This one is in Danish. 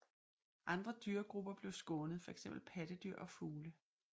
Andre dyregrupper blev skånet fx pattedyr og fugle